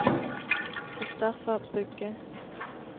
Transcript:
Christoffer Bugge